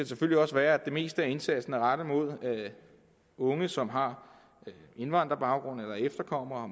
selvfølgelig også være at det meste af indsatsen er rettet mod unge som har indvandrerbaggrund er efterkommere